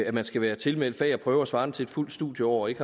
at man skal være tilmeldt fag og prøver svarene til et fuldt studieår og ikke